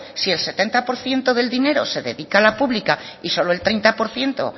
si el setenta por ciento se dedica a la pública y solo el treinta por ciento